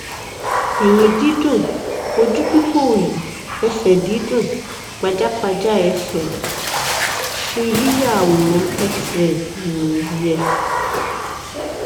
ẹyìn dídùn ojú pípòòyì ẹsẹ dídùn pajápajá ẹsẹ ṣé yíya àwòrán xray um yẹ